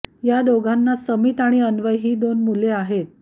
या दोघांना समित आणि अन्वय ही दोन मुलं आहेत